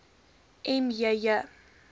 m j j